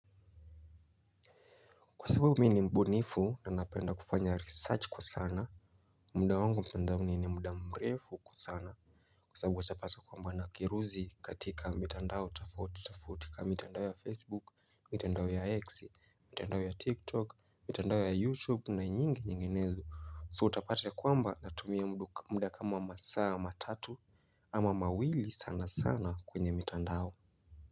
Kwa sababu mimi ni mbunifu na napenda kufanya research kwa sana. Mda wangu mtandao ni ni mda mrefu kwa sana. Kwa sababu usapasa kwamba nakiruzi katika mitandao tofauti tofati. Kwa mitandao ya Facebook, mitandao ya X, mitandao ya TikTok, mitandao ya YouTube na nyingi nyinginezo So utapate kwamba natumia mda kama masaa matatu ama mawili sana sana kwenye mitandao.